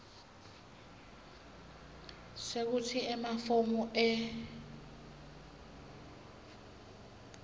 sekutsi emafomu e